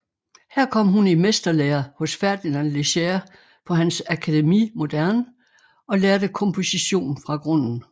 Her kom hun i mesterlære hos Fernand Léger på hans Académie Moderne og lærte komposition fra grunden